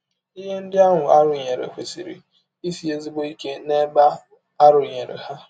Ihe ndị ahụ a rụnyere kwesịrị isi ezigbo ike n’ebe a rụnyere ha.